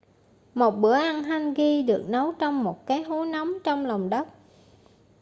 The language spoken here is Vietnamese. một bữa ăn hangi được nấu trong một cái hố nóng trong lòng đất